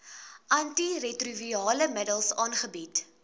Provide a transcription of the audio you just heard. antiretrovirale middels aangebied